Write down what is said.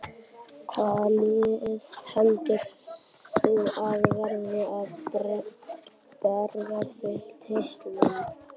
Hvaða lið heldur þú að verði að berjast um titilinn?